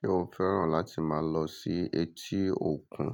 Ṣé o fẹ́ràn láti máa lọ sí etí òkun?